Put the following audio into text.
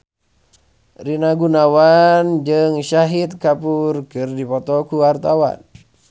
Rina Gunawan jeung Shahid Kapoor keur dipoto ku wartawan